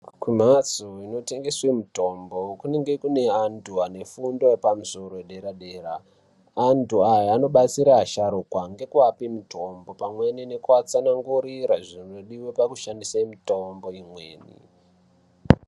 Kumbatso inotengeswa mitombo kunenge kune antu anefundo yepamusoro yedera-dera. Antu aya anobatsira asharukwa. nekuvape mitombo pamweni nekuvatsanangurira zvinodiwe pekushandise mitombo imweni.